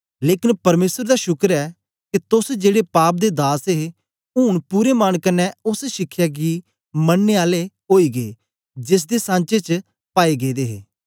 लेकन परमेसर दा शुक्र ऐ के तोस जेड़े पाप दे दास हे ऊन पूरे मन कन्ने ओस शिखया गी मनने आले ओई गै जेसदे सांचे च पाए गेदे हे